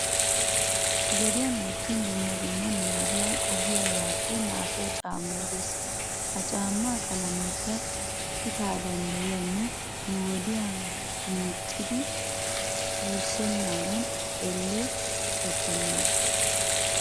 Gediyan wottin dumma dumma nu gediya qohiyaabaappe naagiyaa caammay de'es. Ha caammaa qalameekka qitaa danddayiyanne nu wodiya meecciiddi wurssennaadan elle qitattennaagaa.